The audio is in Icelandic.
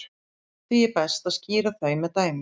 Því er best að skýra þau með dæmum.